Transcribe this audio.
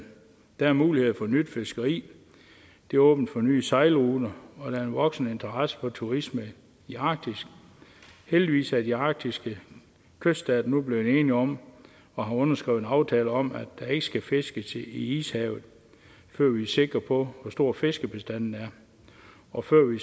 der er muligheder for nyt fiskeri det åbner for nye sejlruter og der er en voksende interesse for turisme i arktis heldigvis er de arktiske kyststater nu blevet enige om og har underskrevet en aftale om at der ikke skal fiskes i ishavet før vi er sikre på hvor stor fiskebestanden er og før vi